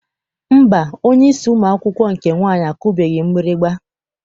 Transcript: Mba, onyeisi ụmụ akwụkwọ nke nwaanyị akụbeghị mgbịrịgba.